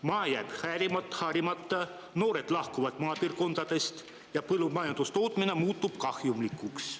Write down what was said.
Maa jääb harimata, noored lahkuvad maapiirkondadest ja põllumajandustootmine muutub kahjumlikuks.